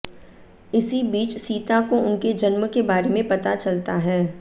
इसी बीच सीता को उनके जन्म के बारे में पता चलता है